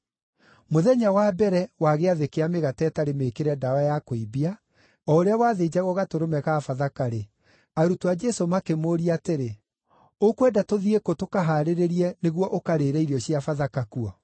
Mũthenya wa mbere wa Gĩathĩ kĩa Mĩgate ĩtarĩ Mĩĩkĩre Ndawa ya Kũimbia, o ũrĩa wathĩnjagwo gatũrũme ka Bathaka-rĩ, arutwo a Jesũ makĩmũũria atĩrĩ, “Ũkwenda tũthiĩ kũ tũkahaarĩrie nĩguo ũkarĩĩre irio cia Bathaka kuo?”